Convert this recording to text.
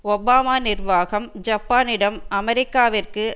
Obama நிர்வாகம் ஜப்பானிடம் அமெரிக்காவிற்கு